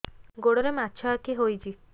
ଗୋଡ଼ରେ ମାଛଆଖି ହୋଇଛି